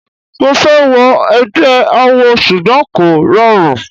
Mo fẹ́ wọ egbẹ́ awo ṣùgbọ́n kò rọrùn.